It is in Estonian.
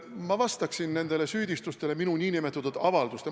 Ma vastaksin nüüd nendele süüdistustele minu nn avalduste kohta.